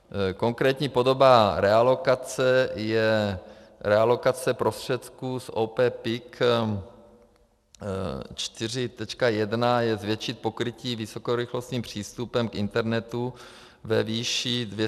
Konkrétní podoba realokace je realokace prostředků z OP PIK 4.1 je zvětšit pokrytí vysokorychlostním přístupem k internetu ve výši 240 531 844 eur.